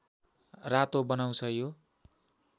रातो बनाउँछ यो